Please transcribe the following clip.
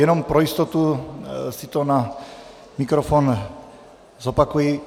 Jenom pro jistotu si to na mikrofon zopakuji.